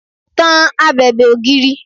Tan abèbè ògiri!